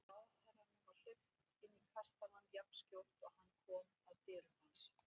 Ráðherranum var hleypt inn í kastalann jafnskjótt og hann kom að dyrum hans.